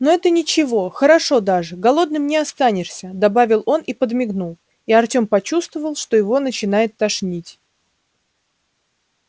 но это ничего хорошо даже голодным не останешься добавил он и подмигнул и артём почувствовал что его начинает тошнить